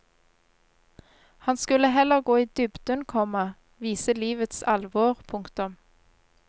Han skulle heller gå i dybden, komma vise livets alvor. punktum